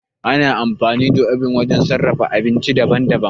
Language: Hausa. Ana amfani da obin wajen sarrafa abinci daban-daban.